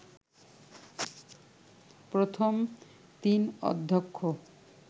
প্রথম তিন অধ্যক্ষ